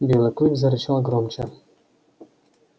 белый клык зарычал громче